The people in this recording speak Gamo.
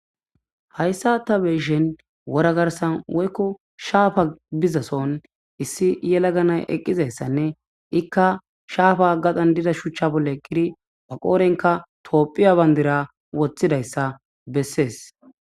hayssa ta beyishen wora garsan woykko shaafa gizason issi yela ganay eqqizayssanne ikka shaafa gaxan diza shuchcha bolle qiri ba qoorenka toophiya bandira woththidayssa bessees